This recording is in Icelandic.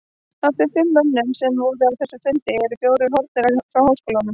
Af þeim fimm mönnum, sem voru á þessum fundi, eru fjórir horfnir frá háskólanum.